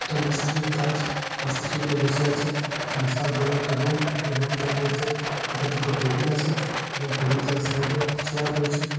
এটা মিস্ত্রির কাজ ।মিস্ত্রি গুলো বসে রয়েছে আছে । বিশাল বড়ো একটা রুম । এই রুম টার মধ্যে একটা দুটো টেবিল আছে এবং টেবিল তার সাইড এ চেয়ার রয়েছে ।